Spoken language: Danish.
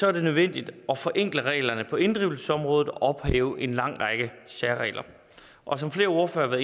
er det nødvendigt at forenkle reglerne på inddrivelsesområdet og ophæve en lang række særregler og som flere ordførere